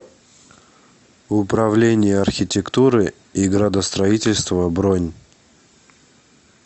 управление архитектуры и градостроительства бронь